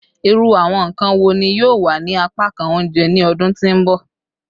Iru awọn nkan wo ni yoo wa ni apakan ounjẹ ni ọdun ti n bọ?